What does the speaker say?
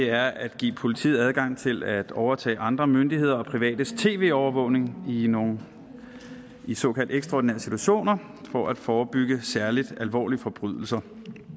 er at give politiet adgang til at overtage andre myndigheders og privates tv overvågning i nogle såkaldt ekstraordinære situationer for at forebygge særligt alvorlige forbrydelser